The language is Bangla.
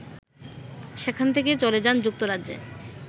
সেখান থেকে চলে যান যুক্তরাজ্যে